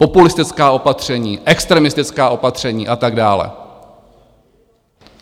Populistická opatření, extremistická opatření a tak dále.